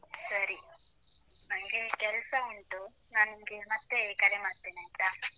ಸರಿ, ನನ್ಗೆ ಕೆಲಸ ಉಂಟು. ನಾನ್ ನಿನ್ಗೆ ಮತ್ತೆ ಕರೆ ಮಾಡ್ತೇನೆ ಆಯ್ತಾ?